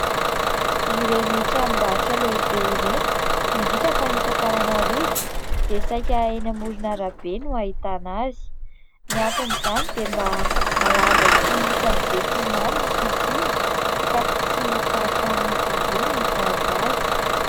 Ireny tranombarotra lehibe ireny, indrindra fa ny eto Antananarivo dia saika eny amorona arabe no ahitana azy. Ny anton'izany dia mba halaza sy ho hitan'ny be sy ny maro ny fisiany, ka tsy ho sarotra amin'izy ireo ny hitady azy.